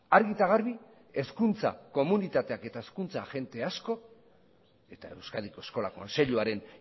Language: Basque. argi eta garbi hezkuntza komunitateak eta hezkuntza agente asko eta euskadiko eskola kontseiluaren